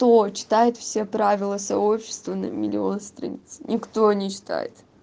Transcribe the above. кто читает все правила сообщества на миллион страниц никто не читает